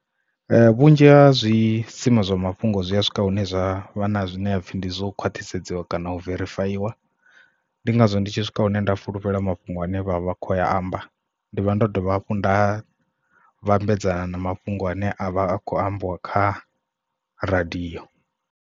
Vhunzhi ha zwi sima zwa mafhungo zwi a swika hune zwavha na zwine hapfhi ndi zwo khwathisedzwa kana u verifayiwa ndi ngazwo ndi tshi swika hune nda fulufhela mafhungo ane vha vha kho amba ndi vha ndo dovha hafhu nda vhambedzana na mafhungo ane a vha a khou ambiwa kha radio.